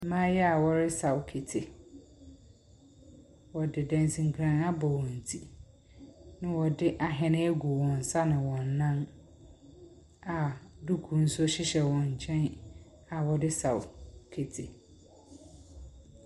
Mmaayewa a wɔresaw kete. wɔde dansinkran abɔ wɔn ti, na wɔde ahene egu wɔn nsa na wɔn nan, na duku nso hyehyɛ wɔn nkyɛn a wɔde saw kete.